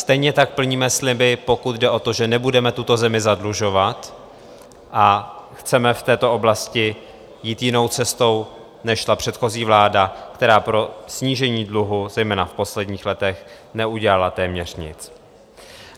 Stejně tak plníme sliby, pokud jde o to, že nebudeme tuto zemi zadlužovat, a chceme v této oblasti jít jinou cestou, než šla předchozí vláda, která pro snížení dluhu zejména v posledních letech neudělala téměř nic.